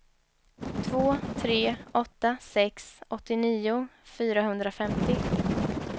två tre åtta sex åttionio fyrahundrafemtio